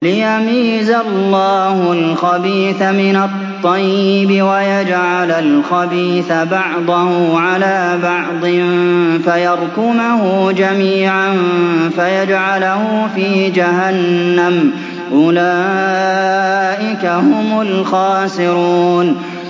لِيَمِيزَ اللَّهُ الْخَبِيثَ مِنَ الطَّيِّبِ وَيَجْعَلَ الْخَبِيثَ بَعْضَهُ عَلَىٰ بَعْضٍ فَيَرْكُمَهُ جَمِيعًا فَيَجْعَلَهُ فِي جَهَنَّمَ ۚ أُولَٰئِكَ هُمُ الْخَاسِرُونَ